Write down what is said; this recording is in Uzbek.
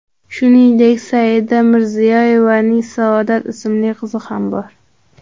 Shuningdek, Saida Mirziyoyevaning Saodat ismli qizi ham bor.